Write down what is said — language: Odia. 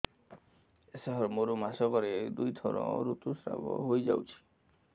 ସାର ମୋର ମାସକରେ ଦୁଇଥର ଋତୁସ୍ରାବ ହୋଇଯାଉଛି